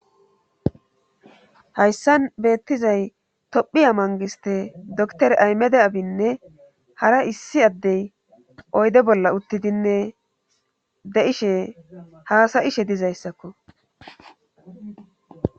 hayssan beettizay tophiya mangiste doktore aymede abinne hara issi addey oyde bolla uttidinne de7ishe haasayishe dizayssakko